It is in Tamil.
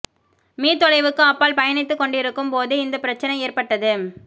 மீ தொலைவுக்கு அப்பால் பயணித்துக் கொண்டிருக்கும் போது இந்த பிரச்சனை ஏற்பட்டது